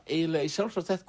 eiginlega í sjálfsvald sett